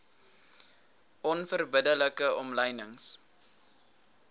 onverbidde like omlynings